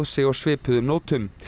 sig á svipuðum nótum